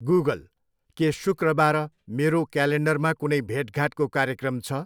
Google, के शुक्रबार मेरो क्यालेन्डरमा कुनै भेटघाटको कार्यक्रम छ?